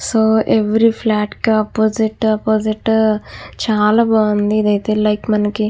so every flat కి opposite opposite చాలా బాగుంది ఇదైతే లైక్ మనకి --